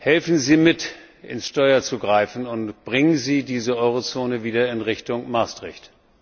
Helfen Sie mit, ins Steuer zu greifen, und bringen Sie diese Euro Zone wieder in Richtung Maastricht.